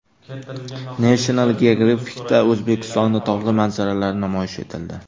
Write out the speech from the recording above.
National Geographic’da O‘zbekistonning tog‘li manzaralari namoyish etildi .